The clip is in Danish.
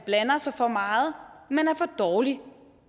blander sig for meget men er for dårlig